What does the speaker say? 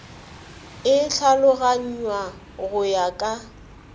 e tlhaloganngwa go ya ka